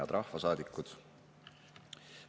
Head rahvasaadikud!